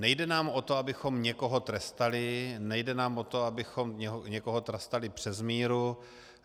Nejde nám o to, abychom někoho trestali, nejde nám o to, abychom někoho trestali přes míru.